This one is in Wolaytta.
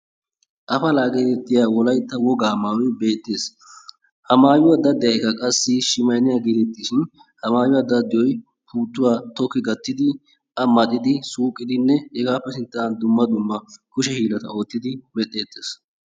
Afalaa getettiyaa wolaytta wogaa maayoy beettees. ha maayuwaa daddiyaagekka qassi shimayiniyaa gidishin ha maayuwaa daddiyooy puutuwaa tokki gattidi a maaxidi suuqqidinne he sinttan dumma dumma kushe hiillata oottidi beettettees.